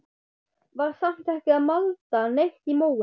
Var samt ekki að malda neitt í móinn.